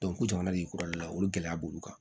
ko jamana de y'i kura de la olu gɛlɛya b'olu kan